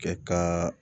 Kɛ kan